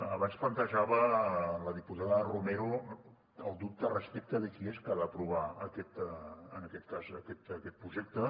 abans plantejava la diputada romero el dubte respecte de qui és qui ha d’aprovar en aquest cas aquest projecte